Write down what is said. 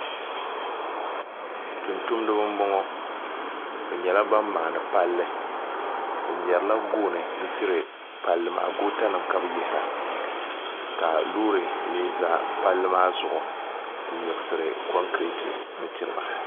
tuntumdiba m-bɔŋɔ bɛ nyɛla ban maani palli bɛ mɛrila gooni n-tiri palli maa gootanima ka bɛ yihira ka loori mi za palli maa zuɣu m-miɣisiri kɔŋkireeti n-tiri ba